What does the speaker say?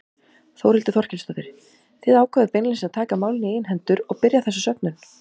Þórhildur Þorkelsdóttir: Þið ákváðuð beinlínis að taka málin í eigin hendur og byrja þessa söfnun?